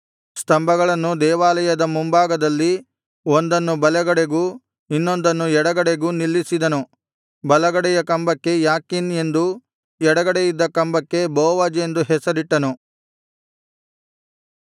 ಸ್ತಂಭಗಳನ್ನು ದೇವಾಲಯದ ಮುಂಭಾಗದಲ್ಲಿ ಒಂದನ್ನು ಬಲಗಡೆಗೂ ಇನ್ನೊಂದನ್ನು ಎಡಗಡೆಗೂ ನಿಲ್ಲಿಸಿದನು ಬಲಗಡೆಯ ಕಂಬಕ್ಕೆ ಯಾಕೀನ್ ಎಂದೂ ಎಡಗಡೆಯಿದ್ದ ಕಂಬಕ್ಕೆ ಬೋವಜ್ ಎಂದೂ ಹೆಸರಿಟ್ಟನು